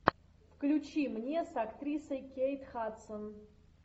включи мне с актрисой кейт хадсон